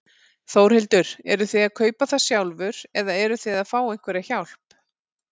Þórhildur: Eruð þið að kaupa það sjálfur eða eruð þið að fá einhverja hjálp?